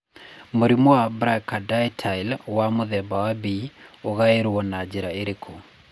Mũrimũ wa brachydactyly wa mũthemba wa B ũgaĩrũo na njĩra ĩrĩkũ?